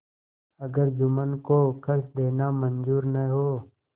अगर जुम्मन को खर्च देना मंजूर न हो